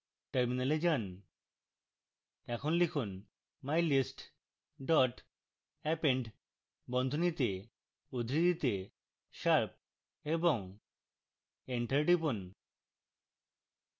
terminal যান